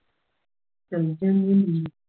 ਚੱਲ ਜਾਂਗੀ